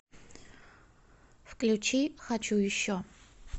включи хочу еще